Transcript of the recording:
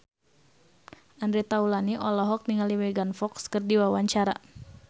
Andre Taulany olohok ningali Megan Fox keur diwawancara